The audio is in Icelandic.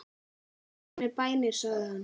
Farið með bænir sagði hann.